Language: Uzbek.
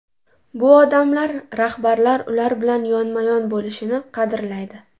Bu odamlar rahbarlar ular bilan yonma-yon bo‘lishini qadrlaydi.